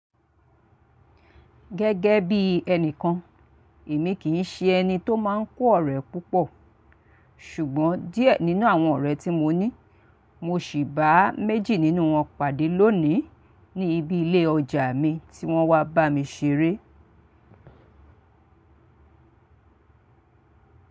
Gẹ́gẹ́ bí ẹnìkan, èmi kì í ṣe ẹni tó máa ń kó ọ̀rẹ́ púpọ̀, ṣùgbọ́n díẹ̀ nínú àwọn ọ̀rẹ́ tí mo ní, mo ṣi bá méjì nínú wọn pàdé lónìí, ní ibi ilé ọjà mi tí wọ́n wá bá mi ṣeré.